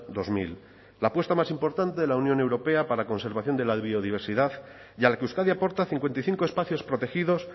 dos mil la apuesta más importante de la unión europea para conservación de la biodiversidad y a la que euskadi aporta cincuenta y cinco espacios protegidos